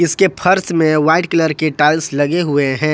इसके फर्श में वाइट कलर के टाइल्स लगे हुए हैं।